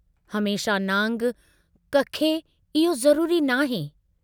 हमेशह नांग कखे इहो ज़रूरी न आहे।